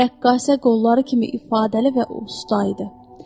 Rəqqasə qolları kimi ifadəli və usta idi.